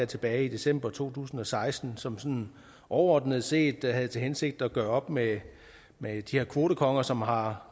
tilbage i december to tusind og seksten og som sådan overordnet set havde til hensigt at gøre op med med de her kvotekonger som har